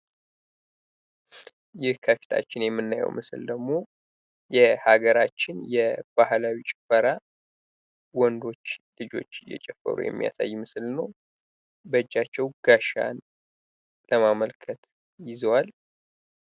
ይህ ከፊታችን የምናየው ምስል ደግሞ የሀገራችን ባህላዊ ጭፈራ ወንዶች ልጆች እየጨፈሩ የሚያሳይ ምስል ነው። በእጃቸው ጋሻን ለማመልከት ይዘዋል።